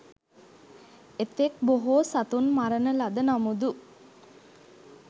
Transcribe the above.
එතෙක් බොහෝ සතුන් මරණ ලද නමුදු